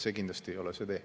See kindlasti ei ole see tee.